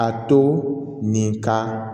A to nin ka